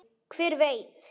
Hver veit?